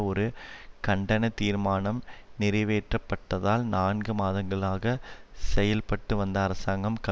ஒரு கண்டன தீர்மானம் நிறைவேற்றப்பட்டதால் நான்கு மாதங்களாக செயல்பட்டுவந்த அரசாங்கம் கவி